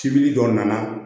Cibiri dɔ nana